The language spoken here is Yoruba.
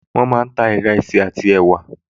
Wọ́n máa ń ta ìrẹsì àti ẹ̀wà